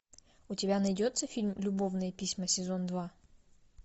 у тебя найдется фильм любовные письма сезон два